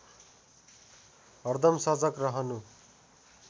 हरदम सजग रहनु